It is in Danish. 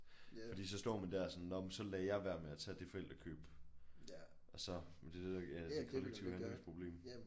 Fordi så står man der sådan nåh men så lader jeg være med at tage det forældrekøb og så men det er det der ja et kollektivt handlingsproblem